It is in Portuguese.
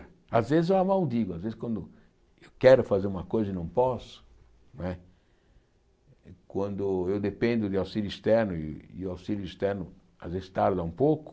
Às vezes eu a maldigo, às vezes quando eu quero fazer uma coisa e não posso, não é quando eu dependo de auxílio externo e o auxílio externo às vezes tarda um pouco,